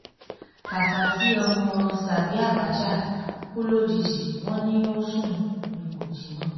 káhásì ọmọ sàbí àbácha kú lójijì wọ́n lọ sùn ni ò jí mọ́